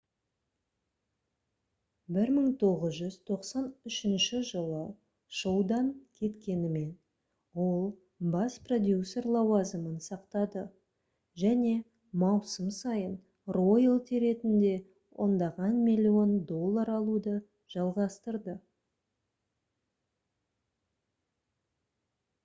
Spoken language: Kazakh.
1993 жылы шоудан кеткенімен ол бас продюсер лауазымын сақтады және маусым сайын роялти ретінде ондаған миллион доллар алуды жалғастырды